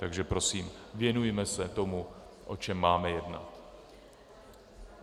Takže prosím, věnujme se tomu, o čem máme jednat.